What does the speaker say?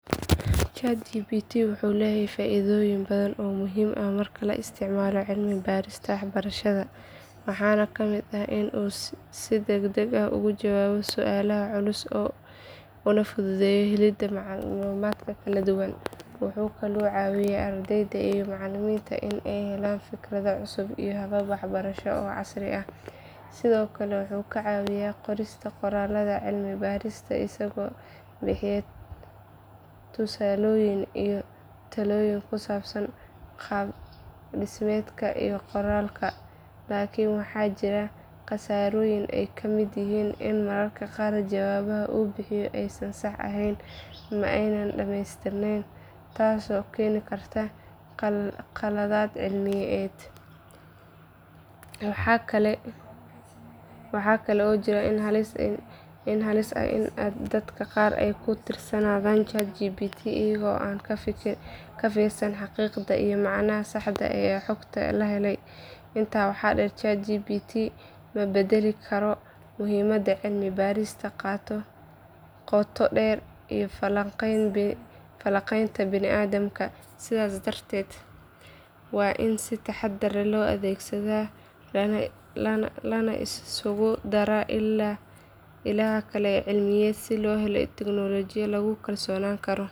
ChatGPT wuxuu leeyahay faa’iidooyin badan oo muhiim ah marka loo isticmaalo cilmi-baarista waxbarashada waxaana ka mid ah in uu si degdeg ah uga jawaabo su’aalaha culus una fududeeyo helidda macluumaadka kala duwan. Wuxuu ka caawiyaa ardayda iyo macallimiinta in ay helaan fikrado cusub iyo habab waxbarasho oo casri ah. Sidoo kale wuxuu ka caawiyaa qorista qoraallada cilmi-baarista isagoo bixiya tusaalooyin iyo talooyin ku saabsan qaab dhismeedka iyo qoraalka. Laakiin waxaa jira khasaarooyin ay ka mid yihiin in mararka qaar jawaabaha uu bixiyo aysan sax ahayn ama aanay dhameystirneyn taas oo keeni karta khaladaad cilmiyeed. Waxaa kale oo jira halis ah in dadka qaar ay ku tiirsanaadaan ChatGPT iyaga oo aan ka fiirsan xaqiiqda iyo macnaha saxda ah ee xogta la helay. Intaa waxaa dheer, ChatGPT ma beddeli karo muhiimadda cilmi-baarista qoto dheer iyo falanqaynta bini’aadamka. Sidaas darteed waa in si taxaddar leh loo adeegsadaa lana isku daraa ilaha kale ee cilmiyeed si loo helo natiijooyin lagu kalsoonaan karo.